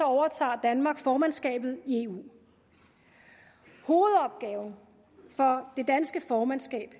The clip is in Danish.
overtager danmark formandskabet i eu hovedopgaven for det danske formandskab